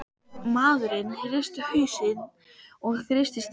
Maðurinn hristi hausinn og kreisti stýrið.